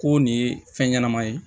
Ko nin ye fɛn ɲɛnama ye